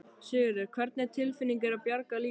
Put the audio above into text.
Sigurður: Hvernig tilfinning er að bjarga lífi?